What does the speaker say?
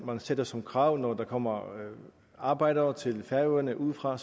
man stiller som krav når der kommer arbejdere til færøerne udefra at